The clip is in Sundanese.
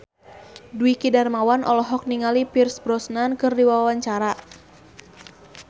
Dwiki Darmawan olohok ningali Pierce Brosnan keur diwawancara